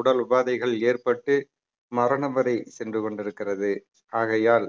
உடல் உபாதைகள் ஏற்பட்டு மரணம் வரை சென்று கொண்டிருக்கிறது ஆகையால்